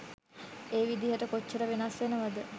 ඒ විදිහට කොච්චර වෙනස් වෙනවද?